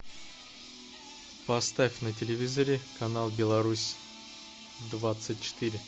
поставь на телевизоре канал беларусь двадцать четыре